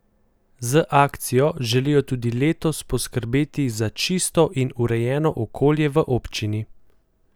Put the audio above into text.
Z akcijo želijo tudi letos poskrbeti za čisto in urejeno okolje v občini.